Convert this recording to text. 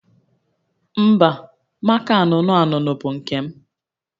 Mba, maka anụnụ anụnụ bụ nke m